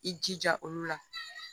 I jija olu la